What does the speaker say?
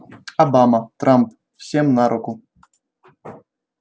обама трамп всем на руку